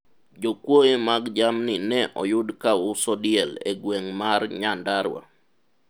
jokuoye mag jamni ne oyud ka uso diel e gweng' mar nyandarua